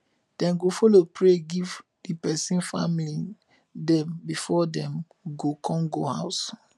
dem go follow pray giv di pesin family dem bifor dem go con go ouse